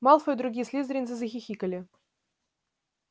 малфой и другие слизеринцы захихикали